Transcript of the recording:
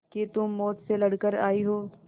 कि तुम मौत से लड़कर आयी हो